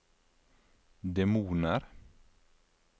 demoner